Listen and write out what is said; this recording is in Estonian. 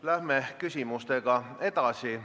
Läheme küsimustega edasi.